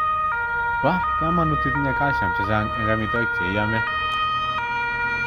Pa kamanut itinye calcium chechang ing amitwogik che iame.